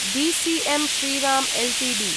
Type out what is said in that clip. DCM Shriram Ltd